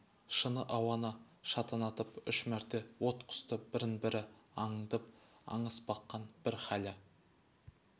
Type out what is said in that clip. шыны ауаны шатынатып үш мәрте от құсты бірін-бірі аңдып аңыс баққан бір хәлі